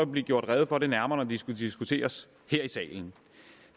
vil blive redegjort nærmere det skal diskuteres her i salen